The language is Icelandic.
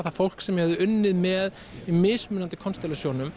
það fólk sem ég hafði unnið með í mismunandi